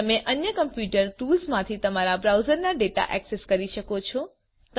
તમે અન્ય કમ્પ્યુટર ટુલ્સમાંથી તમારા બ્રાઉઝરના ડેટા ઍક્સેસ કરી શકો છો